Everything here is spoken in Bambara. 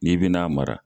N'i bɛna a mara